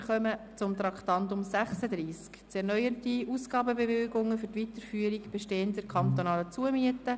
Wir kommen zum Traktandum 36: «Zu erneuernde Ausgabenbewilligungen für die Weiterführung bestehender, kantonaler Zumieten.